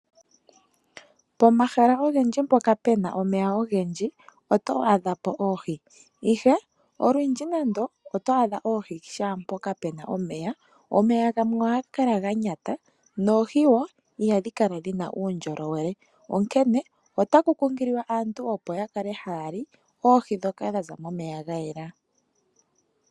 Pomahala ogendji mpoka puna omeya ogendji oto adha po oohi ,ihe olundji nando oto adha oohi shampoka puna omeya ,omeya gamwe ohaga kala ganyata noohi wo iha dhi kala dhina uundjolowele onkene otaku kunkililwa aantu opo yakale haya li oohi dhoka tadhi zi momeya gayela.